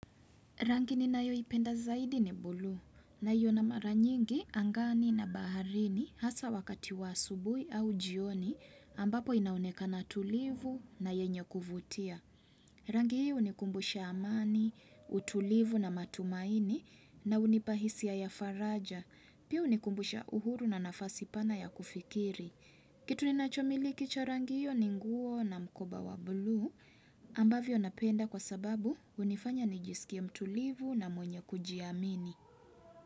Rangi ni na yoi penda zaidi ni bulu naiona mara nyingi angani na baharini hasa wakati wa asubui au jioni ambapo inaonekana tulivu na yenye kuvutia. Rangi hii hunikumbusha amani, utulivu na matumaini na unipa hisia ya faraja. Pia hunikumbusha uhuru na nafasi pana ya kufikiri. Kitu ni nachomiliki cha rangi hio ni nguo na mkoba wa blue ambavyo napenda kwa sababu hunifanya nijisikie mtulivu na mwenye kujiamini.